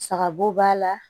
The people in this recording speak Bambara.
Saga bo b'a la